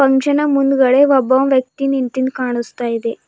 ಅಂಗಷನ ಮುಂದ್ಗಡೆ ಒಬ್ಬ ವ್ಯಕ್ತಿ ನಿಂತಿನ್ ಕಾಣುಸ್ತಾ ಇದೆ.